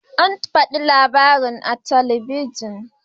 An faɗi labarin a talabijin.